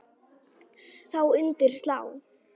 Þá undir slá.